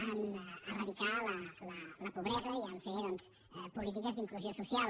a eradicar la pobresa i a fer polítiques d’inclusió social